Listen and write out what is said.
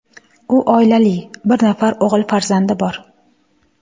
U oilali, bir nafar o‘g‘il farzandi bor.